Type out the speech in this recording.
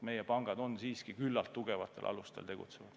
Meie pangad on siiski küllalt tugevatel alustel tegutsenud.